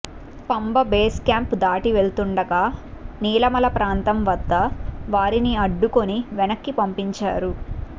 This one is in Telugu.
పంబ బేస్ క్యాంప్ దాటి వెళ్తుండగా నీలిమల ప్రాంతం వద్ద వారిని అడ్డుకుని వెనక్కి పంపించారు